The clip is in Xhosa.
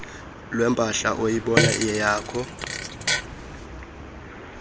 lwempahla oyibona iyeyakho